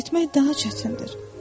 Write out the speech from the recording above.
Ora getmək daha çətindir.